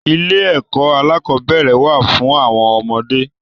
Ilé ẹkọ alakọ̀bẹ́ẹ́rẹ̀ wà fún àwọn ọmọdé.